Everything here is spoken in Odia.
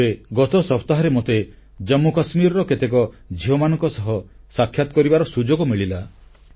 ଏବେ ଗତ ସପ୍ତାହରେ ମୋତେ ଜାମ୍ମୁକାଶ୍ମୀରର କିଛି ଝିଅମାନଙ୍କ ସହ ସାକ୍ଷାତ କରିବାର ସୁଯୋଗ ମିଳିଲା